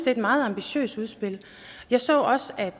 er et meget ambitiøst udspil jeg så også at